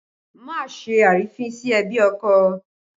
Má ṣe àrífín sí ẹbí ọkọ!